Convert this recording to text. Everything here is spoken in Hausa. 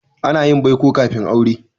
Ana yin baiko kafin aure.